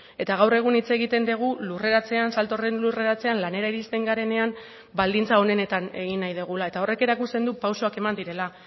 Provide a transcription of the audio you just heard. eta gaur egun hitz egiten dugu lurreratzean salto horren lurreratzean lanera iristen garenean baldintza honenetan egin nahi dugula eta horrek erakusten du pausuak eman direla